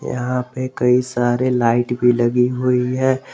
यहां पे कई सारे लाइट भी लगी हुई है।